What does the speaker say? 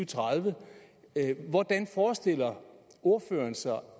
tredive hvordan forestiller ordføreren sig